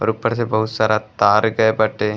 और ऊपर से बहुत सारा तार गए बाटे।